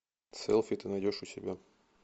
селфи ты найдешь у себя